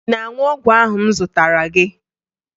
Ị na-aṅụ ọgwụ ahụ m zụtara gị?